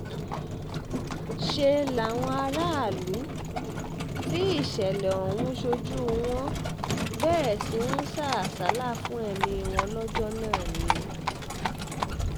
um ṣe làwọn aráàlú tí ìṣẹ̀lẹ̀ ọ̀hún ṣojú wọn bẹ̀rẹ̀ sí í um sá àsálà fún ẹ̀mí wọn lọ́jọ́ náà ni